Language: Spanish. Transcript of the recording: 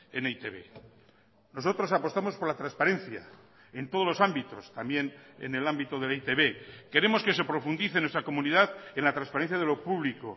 en e i te be nosotros apostamos por la transparencia en todos los ámbitos también en el ámbito de e i te be queremos que se profundice en nuestra comunidad en la transparencia de lo público